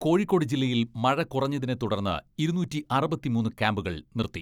കോഴിക്കോട് ജില്ലയിൽ മഴ കുറഞ്ഞതിനെ തുടർന്ന് ഇരുനൂറ്റി അറുപത്തിമൂന്ന് ക്യാംപുകൾ നിർത്തി.